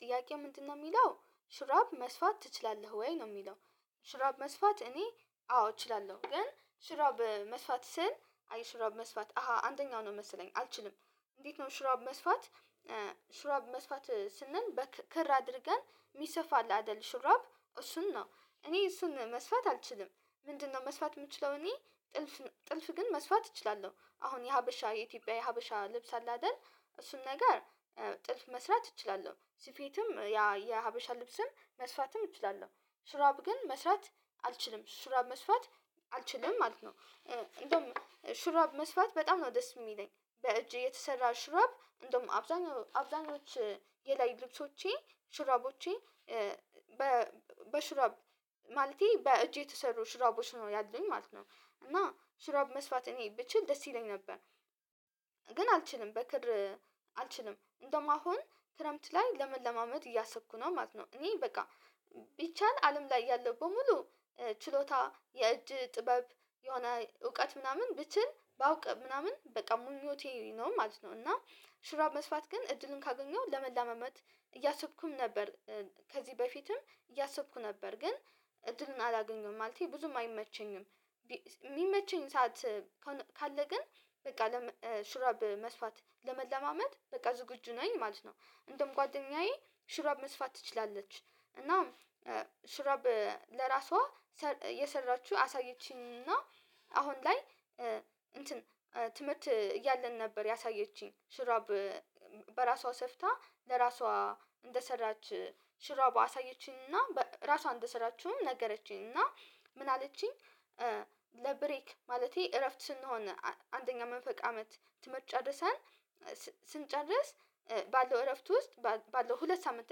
ጥያቄ ምንድነው የሚለው ሽራብ መስፋት ትችላለህ ወይ? ነው የሚለው ሽራብ መስፋት እኔ አዎ እችላለው ግን ሽራብ መስፋት ስል ሹራብ መስፋት አሃ አደኛው ነው መሰለኝ አልችልም እንዴት ነው ሽራብ መስፋት ሽራብ መስፋት ስንል በክር አድርገን የሚሰፋ አለ አይደል ሹራብ እሱን ነው። እኔ እሱን መስፋት አልችልም ምንድነው መስፋት የምችለው እኔ ጥልፍ ግን መስፋት እችላለሁ አሁን የሀበሻ የኢትዮጵያ የሀበሻ ልብስ አለ አይደል እሱን ነገር ጥልፍ መስራት እችላለሁ ስፌትም ያ የሀበሻ ልብስም መስፋትም እችላለሁ ስራብ ግን መስራት አልችልም ሹራብ መስፋት አልችልም ማለት ነው። እንደውም ሽራብ መስፋት በጣም ነው ደስ የሚለኝ በእጅ የተሰራ ሽረብ እንደውም አብዛኛው አብዛኞቹ የላይ ልብሶቼ ሽረቦቼ በ በሽረብ በሽራብ ማለቴ በእጄ የተሰሩ ሽራቦች ነው ያሉኝ ማለት ነው እና ሽራብ መስፋት እኔ ብችል ደስ ይለኝ ነበር። ግን አልችልም በክር አልችልም እንደማሆን ክረምት ላይ ለመለማመድ እያሰብኩ ነው ማለት ነው። እኔ በቃ ቢቻል አለም ላይ ያለው በሙሉ ችሎታ የእጅ ጥበብ የሆነ እውቀት ምናምን ብችል ባውቅ ምናምን በቃ ምኞቴ ነው ማለት ነው። እና ሽራብ መስፋት ግን እድልን ካገኘው ለመለማመድ እያሰብኩም ነበር ከዚህ በፊትም እያሰብኩ ነበር ግን እድልን አላገኘሁም ማለቴ ብዙም አይመቸኝም የሚመቸኝ ሰዓት ካለ ግን በቃ ሽራብ መስፋት ለመለማመድ በቃ ዝግጁ ነኝ ማለት ነው። እንደም ጓደኛዬ ሽረብ መስፋት ትችላለች እና ሽረብ ለራሷ የሰራችሁ አሳየችኝ እና አሁን ላይ እንትን ትምህርት እያለን ነበር ያሳየችኝ ሽራብ በራሷ ሰፍታ ለራሷ እንደሰራች ሽራብ አሳየችኝና ራሷን እንደሰራችሁም ነገረችኝ እና ምን አለችኝ ለብሬክ ማለቴ እረፍት ስንሆን አንደኛ መንፈቅ አመት ትምርት ጨርሰን ስንጨርስ ባለው እረፍት ውስጥ ባለው ሁለት ሳምንት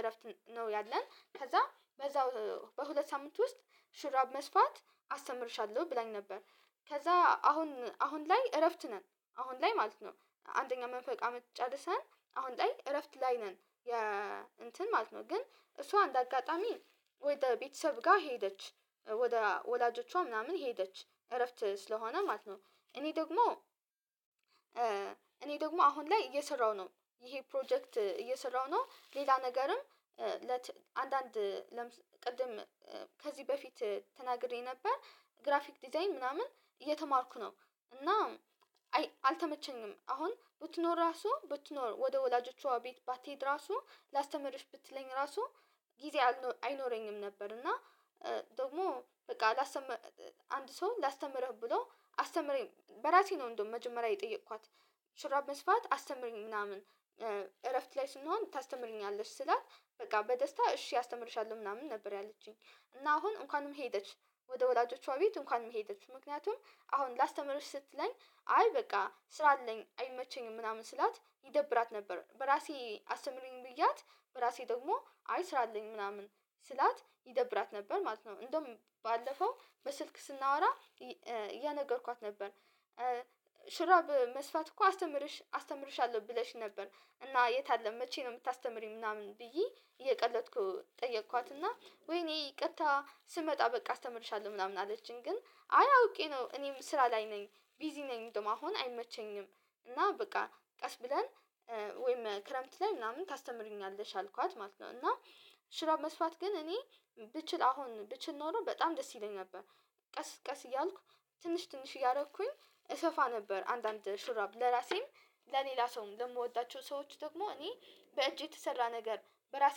እረፍት ነው ያለን ከዛ በዛው በሁለት ሳምንት ውስጥ ሽራብ መስፋት አስተምርሻለሁ ብላኝ ነበር። ከዛ አሁን አሁን ላይ እረፍት ነን አሁን ላይ ማለት ነው አንደኛ መንፈቅ አመት ጨርሰን አሁን ላይ እረፍት ላይ ነን የ እንትን ማለት ነው። ግን እሷ እንደ አጋጣሚ ወደ ቤተሰብ ጋ ሄደች ወደ ወላጆቿ ምናምን ሄደች እረፍት ስለሆነ ማለት ነው እኔ ደግሞ እኔ ደግሞ አሁን ላይ እየሰራው ነው ይሄ ፕሮጀክት እየሰራው ነው ሌላ ነገርም ለት አንዳንድ ቅድም ከዚህ በፊት ተናግሬ ነበር ግራፊክ ዲዛይን ምናምን እየተማርኩ ነው እና አልተመቸኝም አሁን ብትኖር ራሱ ብትኖር ወደ ወላጆቿ ቤት ባትሄድ ራሱ ላስተምርሽ ብትለኝ ራሱ ጊዜ አይኖረኝም ነበር እና ደግሞ በቃ ላስተምር አንድ ሰው ላስተምርህ ብሎ አስተምረኝ በራሴ ነው እንደው መጀመሪያ የጠየኳት ሽራብ መስፋት አስተምረኝ ምናምን እረፍት ላይ ስንሆን ታስተምረኛለሽ ስላት በቃ በደስታ እሺ አስተምርሻለሁ ምናምን ነበር ያለችኝ እና አሁን እንኳንም ሄደች ወደ ወላጆቿ ቤት እንኳንም ሄደች ምክንያቱም አሁን ላስተምርሽ ስትለኝ አይ በቃ ስራ አለኝ አይመቸኝም ምናምን ስላት ይደብራት ነበር በራሴ አስተምረኝ ብዬያት በራሴ ደግሞ አይ ስራ አለኝ ምናምን ስላት ይደብራት ነበር ማለት ነው እንደውም ባለፈው በስልክ ስናወራ እያነገርኳት ነበር። ሽራብ በመስፋት እኮ አስተምርሽ አስተምርሻለሁ ብለሽ ነበር እና የት አለ መቼ ነው የምታስተምሪ ምናምን ብዬ እየቀለድኩ ጠየኳትና ወይኔ ይቅርታ ስመጣ በቃ አስተምርሻለሁ ምናምን አለችኝ ግን አያውቄ ነው እኔም ስራ ላይ ነኝ ቢዚ ነኝ እንደማሆን አይመቸኝም እና በቃ ቀስ ብለን ወይም ክረምት ላይ ምናምን ታስተምሪኛለሽ አልኳት ማለት ነው እና ሽራብ መስፋት ግን እኔ ብችል አሁን ብችል ኖሮ በጣም ደስ ይለኝ ነበር ቀስ ቀስ እያልኩ ትንሽ ትንሽ እያደረኩኝ እሰፋ ነበር አንዳንድ ሹራብ ለራሴም ለሌላ ሰውም ለምወዳቸው ሰዎች ደግሞ እኔ በእጄ የተሰራ ነገር በራሴ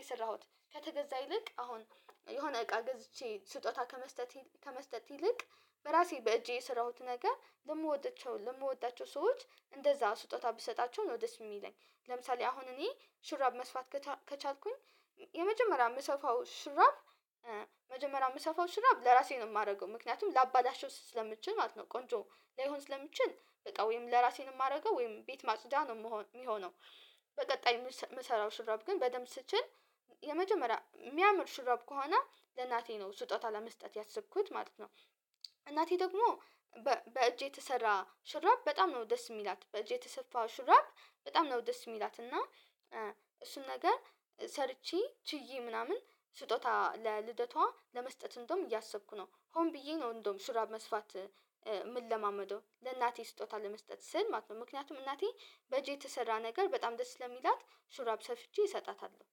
የሰራሁት ከተገዛ ይልቅ አሁን የሆነ እቃ ገዝቼ ስጦታ ከመስጠት ከመስጠት ይልቅ በራሴ በእጄ የሰራሁት ነገር ለምወደቸው ለምወዳቸው ሰዎች እንደዛ ስጦታ ብትሰጣቸው ነው ደስ የሚለኝ። ለምሳሌ አሁን እኔ ሽራብ መስፋት ከቻልኩኝ የመጀመሪያ ምሰፋው ሽራብ መጀመሪያ የምሰፋው ሽራብ ለራሴ ነው የማረገው። ምክንያቱም ለአባላሽው ስለምችል ማለት ነው ቆንጆ ለሆን ስለምትችል በጣም ወይም ለራሴን የማደርገው ወይም ቤት ማጽዳ ነው የሚሆነው። በቀጣይ መሰራው ሽራብ ግን በደንብ ስችል የመጀመሪያ የሚያምር ሽራብ ከሆነ ለእናቴ ነው ስጦታ ለመስጠት ያሰብኩት ማለት ነው። እናቴ ደግሞ በእጄ የተሰራ ሽራብ በጣም ነው ደስ የምላት። በእጄ የተሰፋ ሽራብ በጣም ነው ደስ የምትላትና እሱን ነገር ሰርቼ ችዬ ምናምን ስጦታ ለልደቷ ለመስጠት እንደውም እያሰብኩ ነው ሆን ብዬ ነው እንደውም ሽራብ መስፋት የምለማመደው። ለእናቴ ስጦታ ለመስጠት ስል ማለት ነው። ምክንያቱም እናቴ በጄ የተሰራ ነገር በጣም ደስ ለሚላት ሹራብ ሰፍቼ እሰጣታለው።